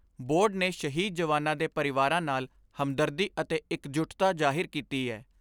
Board ਨੇ ਸ਼ਹੀਦ ਜਵਾਨਾਂ ਦੇ ਪਰਿਵਾਰਾਂ ਨਾਲ ਹਮਦਰਦੀ ਅਤੇ ਇਕਜੁੱਟਤਾ ਜ਼ਾਹਿਰ ਕੀਤੀ ਏ।